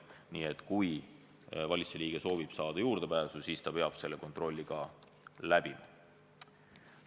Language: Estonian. Nii et kui valitsuse liige soovib saada juurdepääsu, siis ta peab selle kontrolli ka läbima.